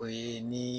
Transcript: O ye ni